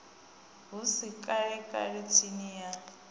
hu si kalekale tsimbi ya